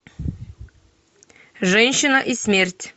женщина и смерть